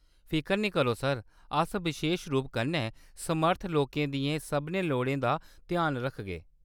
फिकर निं करो, सर, अस बशेश रूप कन्नै समर्थ लोकें दियें सभनें लोड़ें दा ध्यान रखगे।